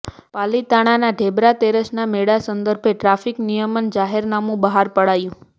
પાલિતાણાના ઢેબરા તેરસના મેળા સંદર્ભે ટ્રાફીક નિયમન જાહેરનામુ બહાર પડાયું